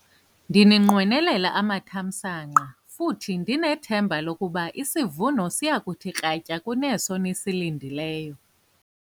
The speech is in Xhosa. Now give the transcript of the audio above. Ndininqwenelela amathamsanqa futhi ndinethemba lokuba isivuno siya kuthi kratya kuneso nisilindeleyo.